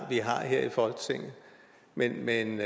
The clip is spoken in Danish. vi har her i folketinget men men